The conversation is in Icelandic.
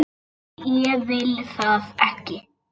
Nei, ég vil það ekki.